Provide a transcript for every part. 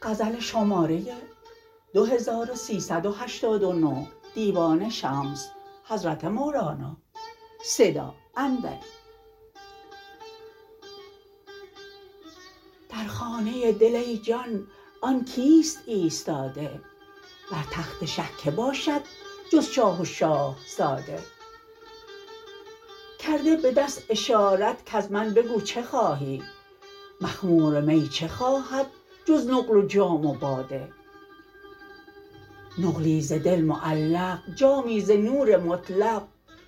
در خانه دل ای جان آن کیست ایستاده بر تخت شه کی باشد جز شاه و شاه زاده کرده به دست اشارت کز من بگو چه خواهی مخمور می چه خواهد جز نقل و جام و باده نقلی ز دل معلق جامی ز نور مطلق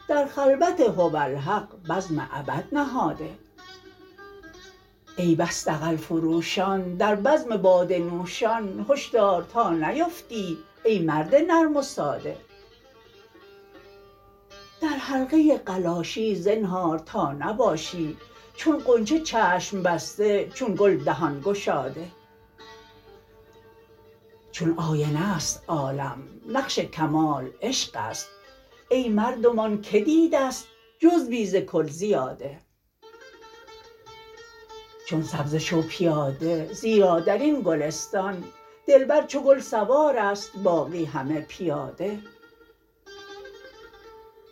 در خلوت هوالحق بزم ابد نهاده ای بس دغل فروشان در بزم باده نوشان هش دار تا نیفتی ای مرد نرم و ساده در حلقه قلاشی زنهار تا نباشی چون غنچه چشم بسته چون گل دهان گشاده چون آینه است عالم نقش کمال عشق است ای مردمان کی دیده است جزوی ز کل زیاده چون سبزه شو پیاده زیرا در این گلستان دلبر چو گل سوار است باقی همه پیاده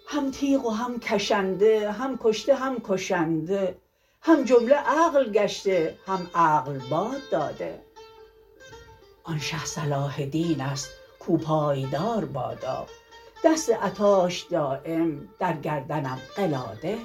هم تیغ و هم کشنده هم کشته هم کشنده هم جمله عقل گشته هم عقل باد داده آن شه صلاح دین است کاو پایدار بادا دست عطاش دایم در گردنم قلاده